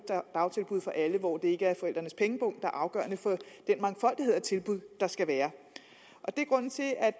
dagtilbud for alle og det ikke er forældrenes pengepung der afgørende for den mangfoldighed af tilbud der skal være